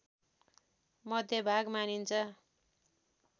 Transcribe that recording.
मध्यभाग मानिन्छ